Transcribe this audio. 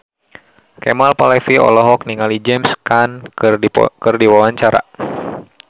Kemal Palevi olohok ningali James Caan keur diwawancara